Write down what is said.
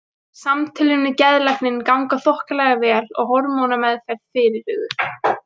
Samtölin við geðlækninn ganga þokkalega vel og hormónameðferð fyrirhuguð.